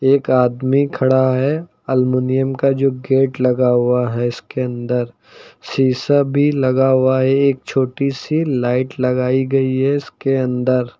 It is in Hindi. एक आदमी खड़ा है एल्यूमिनियम का जो गेट लगा हुआ है इसके अंदर शीशा भी लगा हुआ है एक छोटी सी लाइट लगाई गई है इसके अंदर।